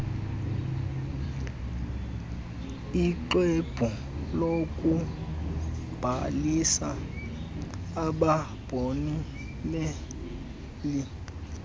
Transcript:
ixwebhu lokubhalisa ababoneleli